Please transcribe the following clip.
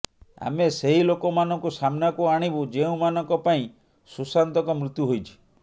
ଆମେ ସେହି ଲୋକମାନଙ୍କୁ ସାମ୍ନାକୁ ଆଣିବୁ ଯେଉଁମାନଙ୍କ ପାଇଁ ସୁଶାନ୍ତଙ୍କ ମୃତ୍ୟୁ ହୋଇଛି